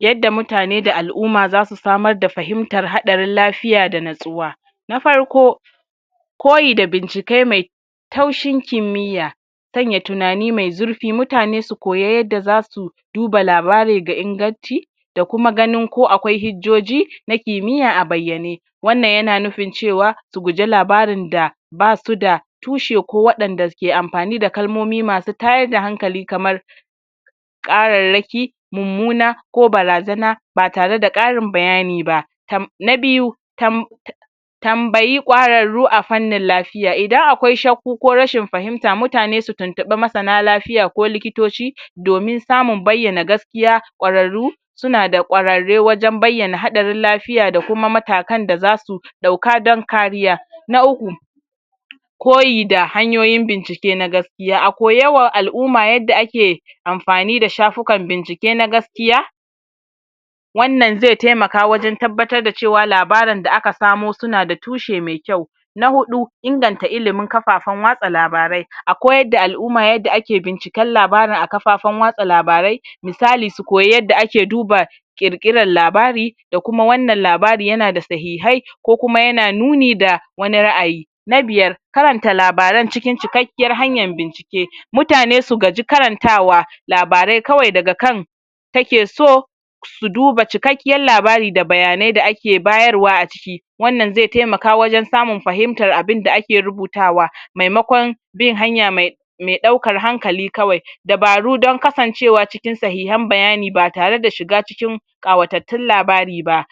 yadda mutane da al'uma dasu samar da fahimtar haɗarin lafiya da nitsuwa na farko koyi da bincike me taushin kimmiya sanya tunani me zurfi mutane su koya yadda zasu duba labari ga ingaci da kuma ganin ko akwai hijjoji na kimmiya abayyane wannan yana nufin cewa su guje labarin da basuda tushe ko waɗanda ke anpani da kalmomi masu tayar da hankali kamar ƙararraki mummuna ko barazana batare da ƙarin bayani ba tam na biyu tam tambayi ƙwararru afannin lafiya idan akwai shaku ko rashin fahimta, mutane su tuntuɓi masana lafiya ko likitoci domin samun bayyana gas kiya ƙwararru suna da ƙwararre wajan bayyana haɗarin lafiya da kuma mataka da zasu ɗauka dan kariya na uku koyi da hanyoyin bincike na gask ya a koya wa al'umua yadda ake anfani da shafukan bincike na gas kiya wannan ze temaka wajan tabbatar dacewa labarin da aka kawo yana da tushe me kyau na huɗu inganta ilimi kafafan watsa labarai akoyar da al'umma yadda ake binciken labarin a kafafan watsa labarai, misali su koyi yadda ake dubar kirkiran labari da kuma wannan labari yana da sahihai ko kuma yana nuni da wani ra'ayi na biyar karanta labaran cikin cike kiyar hanyar bincike mutane su gaji karantawa labarai kawai daga kan take so su duba cikekkiyar labari da bayanai da ake bayarwa aciki wannan ze temaka wajan samun fahimtar abun da ake rubutawa memakon bin hanya me me ɗaukar hankali kawai dabaru dan kasancewa cikin sahihan bayani batare da shiga cikin ƙawatattun labari ba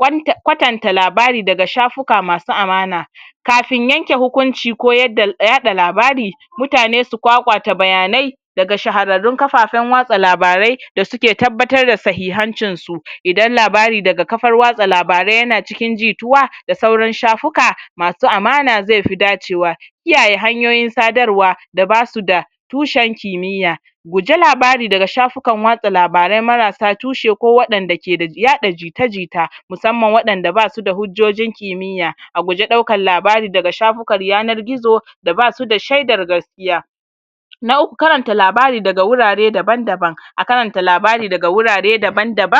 kwanta[um] kwatanta labari daga shafuka masu amana kafin yanke hukunci ko yadda yaɗa labari mutane su kwakwata bayanai daga shahararrun kafafan watsa labarai da suke tabbatar da sahihancin su idan labari daga kafar watsa labarai yana cikin jituwa da sauran shafuka masu amana zefi dacewa kiyaye hanyoyin sadarwa da basuda tushen kimiya guji labari daga shafukan watsa labarai marasa tushe ko waɗanda ke da yaɗa jita jita musamman waɗanda basuda hujjojin kimiyya a guje ɗaukan labari daga shafukan yanar gizo da basu da shaidar gas kiya na uku karanta labari daga wurare daban daban a karanta labari daga wurare daban daban